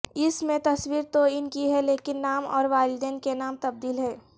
اس میں تصویر تو ان کی ہے لیکن نام اور والدین کے نام تبدیل ہیں